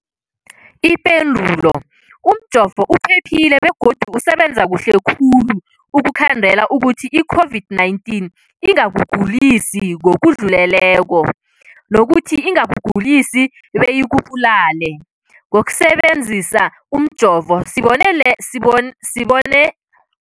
Ipendulo, umjovo uphephile begodu usebenza kuhle khulu ukukhandela ukuthi i-COVID-19 ingakugulisi ngokudluleleko, nokuthi ingakugulisi beyikubulale. Ngokusebe nzisa umjovo, sibone sibon